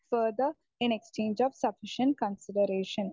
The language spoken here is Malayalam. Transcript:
speaker 1 further in exchange of sufficient consideration